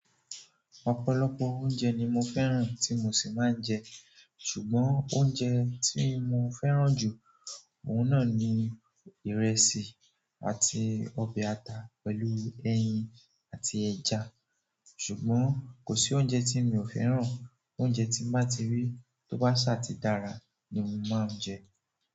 Ọ̀pọ̀lọpọ̀ oúnjẹ ni mo fẹ́ràn tí mo sì máa ń jẹ ṣùgbọ́n oúnjẹ tí mo fẹ́ràn jù, òun náà ni ìrẹsì àti ọbẹ̀ ata pẹ̀lú ẹyin àti ẹja. Ṣùgbọ́n kò sí oúnjẹ tí mi ò fẹ́ràn, oúnjẹ tí n bá ti rí tó bá ṣáà ti dára ni mo máa ń jẹ.